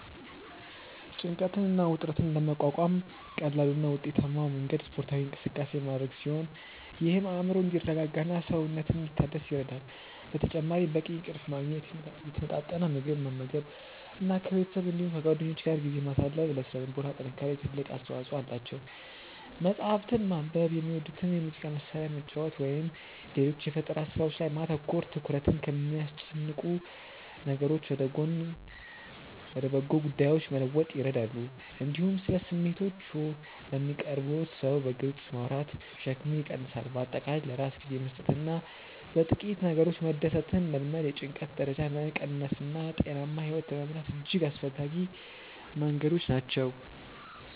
ጭንቀትን እና ውጥረትን ለመቋቋም ቀላሉ እና ውጤታማው መንገድ ስፖርታዊ እንቅስቃሴ ማድረግ ሲሆን ይህም አእምሮ እንዲረጋጋና ሰውነት እንዲታደስ ይረዳል። በተጨማሪም በቂ እንቅልፍ ማግኘት፣ የተመጣጠነ ምግብ መመገብ እና ከቤተሰብ እንዲሁም ከጓደኞች ጋር ጊዜ ማሳለፍ ለሥነ ልቦና ጥንካሬ ትልቅ አስተዋጽኦ አላቸው። መጽሐፍትን ማንበብ፣ የሚወዱትን የሙዚቃ መሣሪያ መጫወት ወይም ሌሎች የፈጠራ ሥራዎች ላይ ማተኮር ትኩረትን ከሚያስጨንቁ ነገሮች ወደ በጎ ጉዳዮች ለመለወጥ ይረዳሉ። እንዲሁም ስለ ስሜቶችዎ ለሚቀርቡዎት ሰው በግልጽ ማውራት ሸክምን ይቀንሳል። በአጠቃላይ ለራስ ጊዜ መስጠትና በጥቂት ነገሮች መደሰትን መልመድ የጭንቀት ደረጃን ለመቀነስና ጤናማ ሕይወት ለመምራት እጅግ አስፈላጊ መንገዶች ናቸው።